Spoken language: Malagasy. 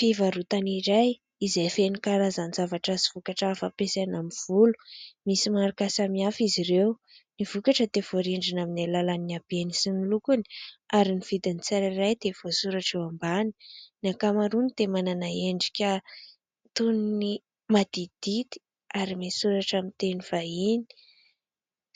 Fivarotana iray izay feno karazan-javatra sy vokatra hafa ampiasaina amin'ny volo. Misy marika samihafa izy ireo. Ny vokatra dia voarindrina amin'ny alalan'ny habehany sy ny lokony , ary ny vidin' ny tsirairay dia voasoratra eo ambany , ny ankamaroany dia manana endrika toy ny maditidity ary misoratra amin'ny teny vahiny